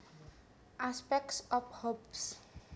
Aspects of Hobbes